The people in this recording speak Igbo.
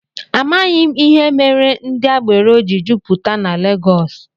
Amaghị m ihe mere ndị agbero ji jupụta na Legọs